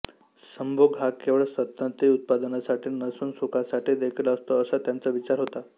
संभोग हा केवळ संतती उत्पादनासाठी नसून सुखासाठीदेखील असतो असा त्यांचा विचार होता